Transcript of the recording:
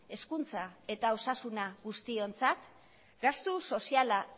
hezkuntza eta osasuna guztiontzat gastuz soziala